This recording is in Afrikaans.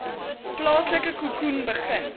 plaaslike khoekhoen begin